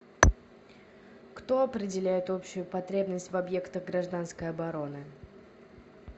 кто определяет общую потребность в объектах гражданской обороны